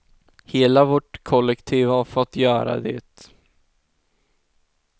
Hela vårt kollektiv har fått göra det.